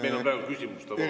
Meil on praegu küsimuste voor.